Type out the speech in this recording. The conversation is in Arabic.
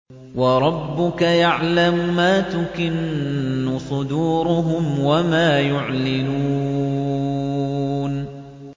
وَرَبُّكَ يَعْلَمُ مَا تُكِنُّ صُدُورُهُمْ وَمَا يُعْلِنُونَ